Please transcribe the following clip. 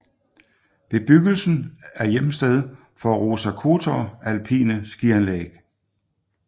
Bebyggelsen er hjemsted for Roza Khutor alpine skianlæg